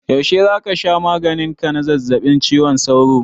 Yaushe za ka sha maganin ka na zazzabin cizon sauro?